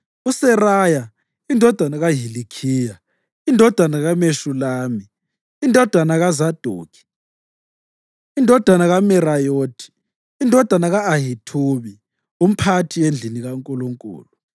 uSeraya indodana kaHilikhiya, indodana kaMeshulami, indodana kaZadokhi, indodana kaMerayothi, indodana ka-Ahithubi, umphathi endlini kaNkulunkulu,